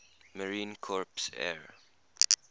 marine corps air